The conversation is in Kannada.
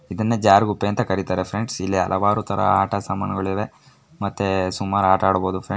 ಇದನ್ನ ಜಾರು ಗುಪ್ಪೆ ಅಂತ ಕರೀತಾರೆ ಫ್ರೆಂಡ್ಸ್ ಇಲ್ಲಿ ಅನೇಕ ಆಟದ ಸಾಮಾಣು ಇದೆ. ಮತ್ತೆ ಸುಮಾರು ಆಟ ಆಡಬಹುದು ಫ್ರೆಂಡ್ಸ್ .